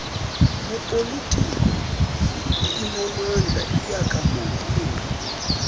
yopolitiko inamandla iyekamongameli